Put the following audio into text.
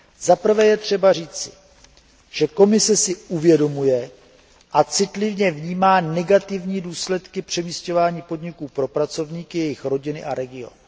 Zaprvé je třeba říci, že Komise si uvědomuje a citlivě vnímá negativní důsledky přemísťování podniků pro pracovníky, jejich rodiny a region.